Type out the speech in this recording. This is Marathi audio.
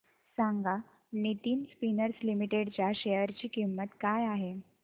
सांगा नितिन स्पिनर्स लिमिटेड च्या शेअर ची किंमत काय आहे